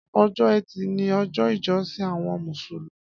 Ọjọ ẹti ni ọjọ ijọsin awọn músúlúmì